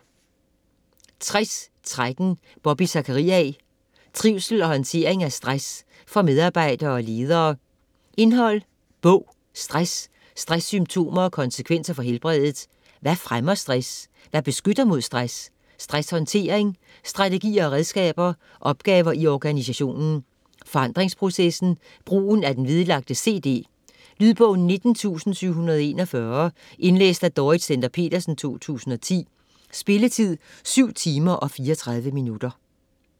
60.13 Zachariae, Bobby: Trivsel og håndtering af stress: for medarbejdere og ledere Indhold (bog): Stress, stresssymptomer og konsekvenser for helbredet; Hvad fremmer stress? Hvad beskytter mod stress?; Stresshåndtering : strategier og redskaber; Opgaver i organisationen; Forandringsprocessen; Brugen af den vedlagte cd. Lydbog 19714 Indlæst af Dorrit Stender-Petersen, 2010. Spilletid: 7 timer, 34 minutter.